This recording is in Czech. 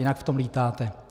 Jinak v tom lítáte.